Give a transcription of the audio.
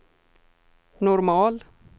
normal